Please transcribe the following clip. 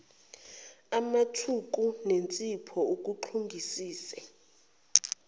amthuku nensipho uguxungisise